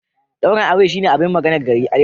Daurin auren shine abin maganar gari.